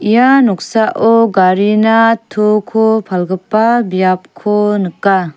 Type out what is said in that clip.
ia noksao garina toko palgipa biapko nika.